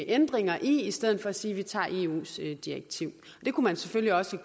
ændringer i i stedet for at sige at de tager eus direktiv det kunne man selvfølgelig også